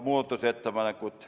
Muudatusettepanekud.